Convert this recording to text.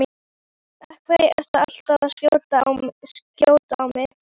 Af hverju ertu alltaf að skjóta á mig?